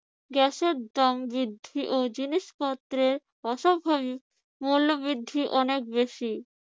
গ্যাসের দাম বৃদ্ধি ও জিনিসপত্রের অস্বাভাবিক মূল্য বৃদ্ধি অনেক বেশি।